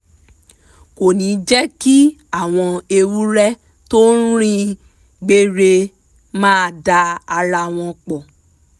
kò ní jẹ́ kí àwọn ewúrẹ́ tó rìn gbère máa da ara wọn pọ̀